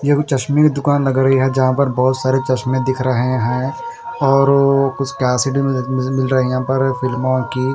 ये भी मुझे चश्मे की दुकान लग रही है जहाँ पर बहोत सारे चश्मे दिख रहे हैं और ओ कुछ कैसेटें मिल मिल रही हैं यहाँ पर फिल्मों की--